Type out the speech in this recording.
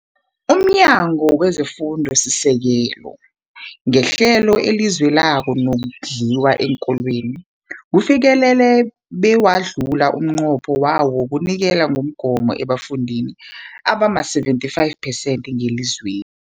UmNyango wezeFundo esiSekelo ngeHlelo leliZweloke lokoNdliwa eenKolweni, ufikelele bewadlula umnqopho wawo wokunikela ngokugoma ebafundini abama-75 percent ngelizwe